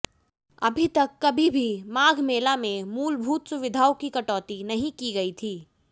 अभी तक कभी भी माघ मेला में मूलभूत सुविधाओं की कटौती नहीं की गई थी